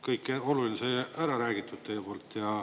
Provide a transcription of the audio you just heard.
Kõik oluline sai ära räägitud teie poolt.